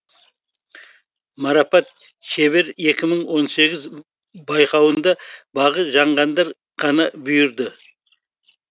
марапат шебер екі мың он сегіз байқауында бағы жанғандар ғана бұйырды